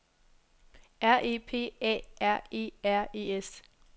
R E P A R E R E S